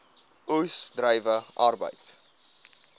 oes druiwe arbeid